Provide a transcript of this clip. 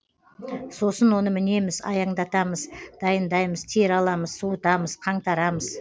сосын оны мінеміз аяңдатамыз дайындаймыз тері аламыз суытамыз қаңтарамыз